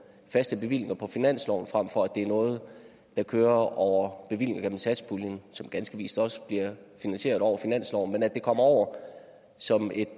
faste bevillinger på finansloven frem for at det er noget der kører over bevillinger gennem satspuljen som ganske vist også bliver finansieret over finansloven at det kommer over som et